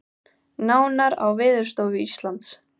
Nánar á vef Veðurstofu Íslands